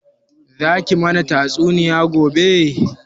Za ki mana tatsuniya gobe?